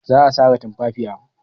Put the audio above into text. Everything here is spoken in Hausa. Za a sare tumfafiya.